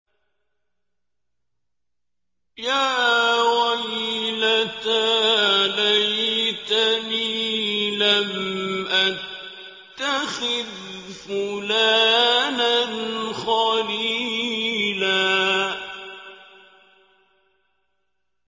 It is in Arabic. يَا وَيْلَتَىٰ لَيْتَنِي لَمْ أَتَّخِذْ فُلَانًا خَلِيلًا